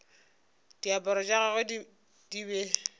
diaparo tša gagwe di be